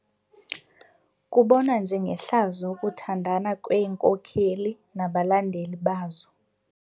Kubonwa njengehlazo ukuthandana kweenkokeli nabalandeli bazo.